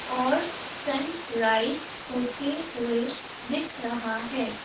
और sunrise होते हुए दिख रहा है।